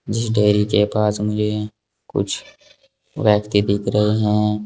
जीस डेरी के पास मुझे कुछ व्यक्ति दिख रहे है।